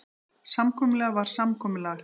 Samkomulag var samkomulag.